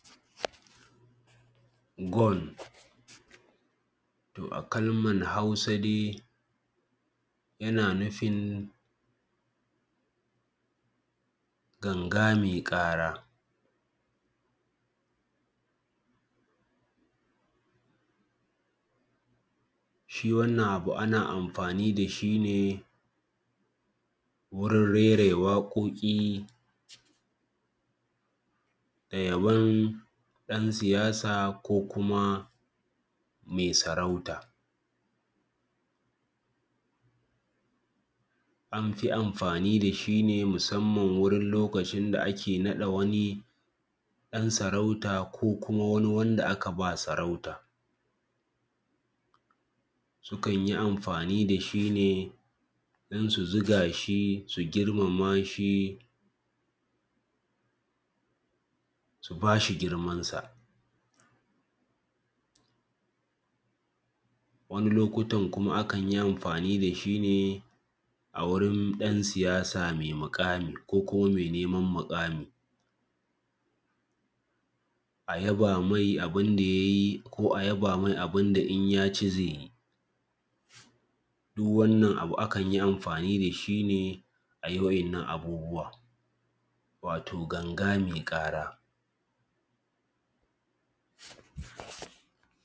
Gon to a kalman Hausa dai yana nufin ganga me ƙara, shi wannan abu ana amfani da shi ne wurin rairaya waƙoƙi da yabon ɗan siyasa ko kuma me sarauta, an fi amfani da shi ne musamman lokacin da ake naɗa wani ɗan sarauta ko kuma wani wanda aka ba saurauta. Sukan yi amfani da shi ne don su ziga shi, su girmama shi su ba shi girman sa, wani lokutan kuma akan yi amfani da shi ne a wurin ɗan siyasa me muƙami ko kuma me neman muƙami, a yaba me abun da ya yi ko kuma a yaba me abun da in ya ci ze yi duk wannan abu akan yi amfani da shi ne a yi waɗannan abubuwa wato ganga me ƙara.